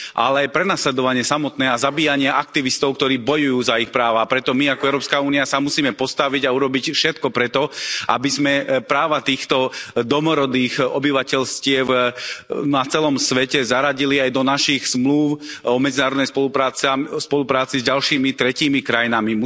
Ale aj prenasledovanie samotné a zabíjanie aktivistov, ktorí bojujú za ich práva. Preto my ako Európska únia sa musíme postaviť a urobiť všetko preto, aby sme práva týchto domorodých obyvateľstiev na celom svete zaradili aj do našich zmlúv o medzinárodnej spolupráci s ďalšími tretími krajinami.